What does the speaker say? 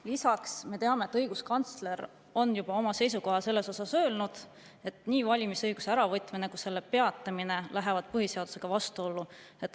Lisaks, me teame, et õiguskantsler on juba öelnud selles osas oma seisukoha, et nii valimisõiguse äravõtmine kui selle peatamine läheb põhiseadusega vastuollu.